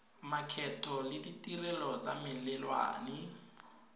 makgetho le ditirelo tsa melelwane